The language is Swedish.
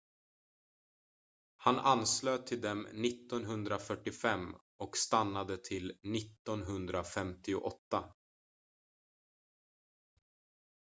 han anslöt till dem 1945 och stannade till 1958